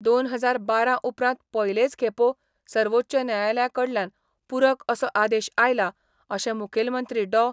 दोन हजार बारा उपरांत पयलेच खेपो सर्वोच्च न्यायालया कडल्यान पुरक असो आदेश आयला, अशें मुखेलमंत्री डॉ.